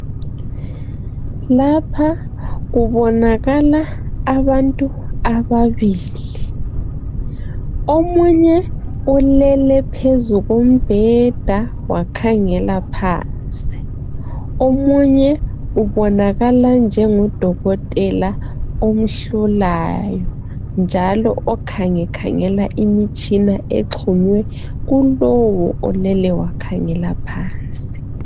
Lapha kubonakala abantu ababili. Omunye ulele phezu kombheda wakhangela phansi. Omunye ubonakala njengodokotela omhlolayo njalo okhangekhangela imitshina exhunywe kulowo olele wakhangela phansi.